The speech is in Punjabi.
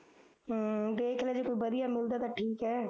ਹਮ ਦੇਖਲਾ ਜੇ ਕੋਈ ਵਧੀਆ ਮਿਲਦਾ ਠੀਕ ਐ